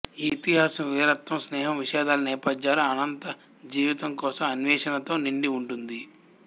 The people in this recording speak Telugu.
ఈ ఇతిహాసం వీరత్వం స్నేహం విషాదాల నేపథ్యాలు అనంత జీవితం కోసం అన్వేషణతో నిండి ఉంటుంది